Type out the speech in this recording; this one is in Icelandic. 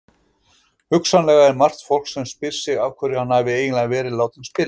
Hugsanlega er margt fólk sem spyr sig af hverju hann hafi eiginlega verið látinn spila?